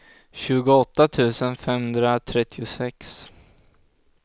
tjugoåtta tusen femhundratrettiosex